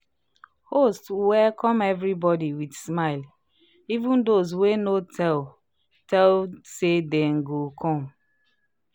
host welcome everybody with smile even those wey no tell tell say dem go come."